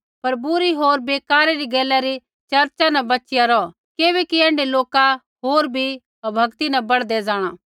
पर बुरी होर बेकारा री गैला री चर्चा न बच़िया रौह किबैकि ऐण्ढै लोका होर बी अभक्ति न बढ़दै जाँणा